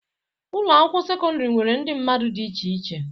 Ụlọ akwụkwọ sekọndrị nwere ndị mmadụ dị iche iche.